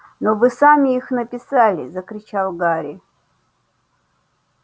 но вы сами их написали закричал гарри